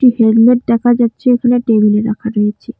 Helmet দেখা যাচ্ছে ওখানে টেবিল -এ রাখা রয়েছে।